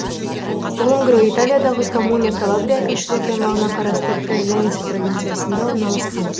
лунгро италиядағы коммуна калабрия әкімшілік аймағына қарасты козенца провинциясында орналасқан